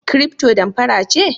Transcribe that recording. Kiriftpo damfara ce?